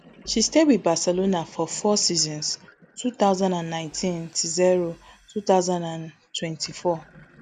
she stay wit barcelona for four seasons two thousand and nineteen tzero two thousand and twenty-four